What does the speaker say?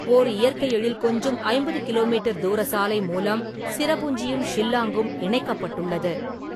ஓர் இயற்கை எழில் கொஞ்சும் ஐம்பது கிலோ மீட்டர் தூர சாலை மூலம் சிரபுஞ்சியும் ஷில்லாங்கும் இணைக்கப்பட்டுள்ளது.